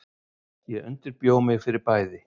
Ég undirbjó mig fyrir bæði.